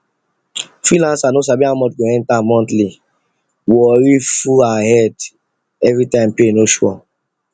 freelancer no sabi how much go enter monthly worry full her head everytime pay no sure